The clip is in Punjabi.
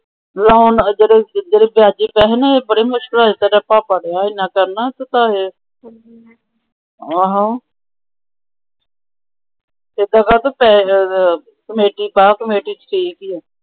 ਜਦੋ ਜੱਜ ਬੜੀ ਮੁਸ਼ਕਿਲ ਹੋਈ ਤੇਰਾ ਭਾਪਾ ਗਵਾਹ ਕਮੇਟੀ ਪਾ ਕਮੇਟੀ ਚ ਠੀਕ ਈ ਓ।